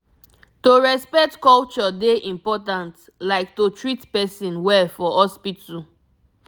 to respect culture dey important like to treat person well for hospital